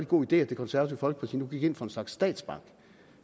god idé at det konservative folkeparti nu gik ind for en slags statsbank